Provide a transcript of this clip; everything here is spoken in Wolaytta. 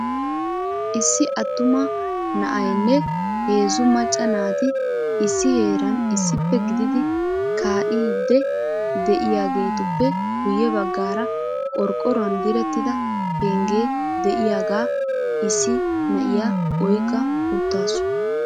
Issi attuma na'aynne heezzu macca naati issi heeran issippe gididi kaa'ide de'iyaagetuppe guyye baggaara qorqqoruwan direttida pengge de'iyaagaa issi na'iya oyqqa uttaasu.